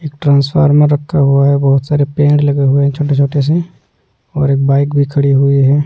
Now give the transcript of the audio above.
एक ट्रांसफार्मर रखा हुआ है बहुत सारे पेड़ लगे हुए हैं छोटे-छोटे से और एक बाइक भी खड़ी हुई है।